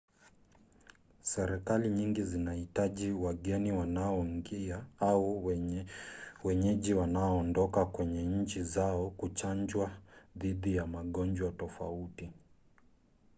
serikali nyingi zinahitaji wageni wanaoingia au wenyeji wanaoondoka kwenye nchi zao kuchanjwa dhidi ya magonjwa tofauti